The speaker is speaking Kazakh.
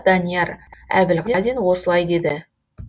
данияр әбілгелдин осылай деді